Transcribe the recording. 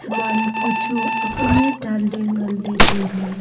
man bu chu ank ne danley tailey.